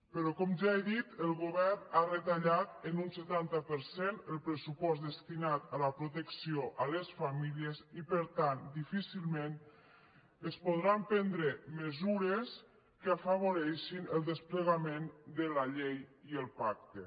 però com ja he dit el govern ha retallat en un setanta per cent el pressupost destinat a la protecció a les famílies i per tant difícilment es podran prendre mesures que afavoreixin el desplegament de la llei i el pacte